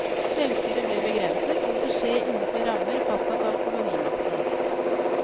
Selvstyret ble begrenset, og måtte skje innenfor rammer fastsatt av kolonimakten.